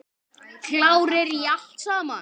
Klárir í allt saman?